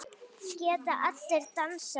Geta allir dansað?